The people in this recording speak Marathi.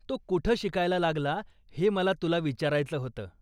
तो कुठं शिकायला लागला हे मला तुला विचारायचं होतं.